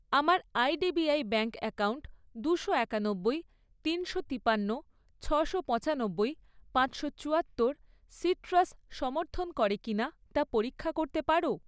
আমার IDBI bank account দুশো একানব্বই, তিনশো তিপান্ন, ছশো পঁচানব্বই, পাঁচশো চুয়াত্তর সিট্রাস সমর্থন করে কি না তা পরীক্ষা করতে পারো?